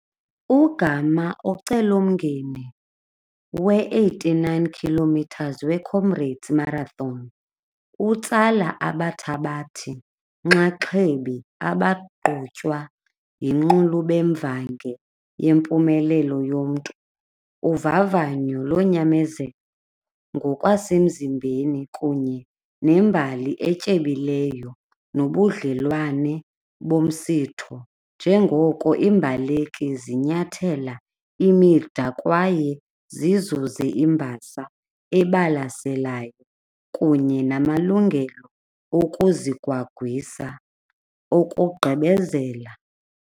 Ugama ocelomngeni we-eighty-nine kilometers we-Comrades Marathon utsala abathabathi-nxaxhebi abagqutywa yinqulubemvange yempumelelo yomntu. Uvavanyo lonyamezelo ngokwasemzimbeni kunye nembali etyebileyo nobudlelwane bomsitho njengoko iimbaleki zinyathela imida kwaye zizuze imbasa ebalaselayo kunye namalungelo okuzigwagwisa okugqibezela.